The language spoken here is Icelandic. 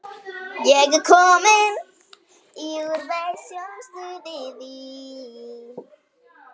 Þetta jaðrar við hnýsni.